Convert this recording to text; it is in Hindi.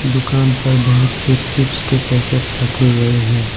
दुकान पर बहुत से चिप्स के पैकेट रखे गए हैं।